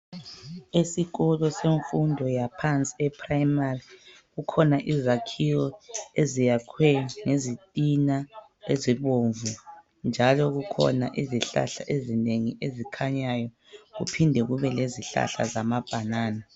Esikolo semfundo yaphansi eprimary kukhona izakhiwo eziyakhwe ngezitina ezibomvu njalo kukhona izihlahla ezinengi ezikhanyayo kuphinde kube lezihlahla zamabhanana.